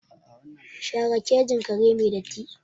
Share kejin kare mai datti!